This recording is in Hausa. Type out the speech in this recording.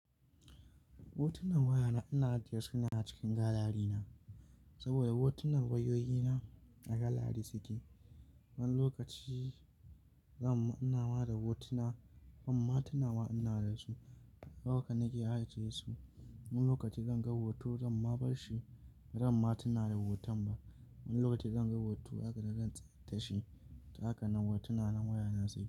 Hotunan wayana ana ajiye su ne a cikin galari na. Saboda hotunan wayoyina a galari suke. Wani lokaci zan, ina mara hotuna, ban ma tunawa ina dasu. Haka nake ajiye su. Wani lokaci zan ga hoto zan ma bar shi, bazan ma tuna da hoton ba. Wani lokaci zan ga hoto haka na gantsa tashi, haka hotuna na wayana suke.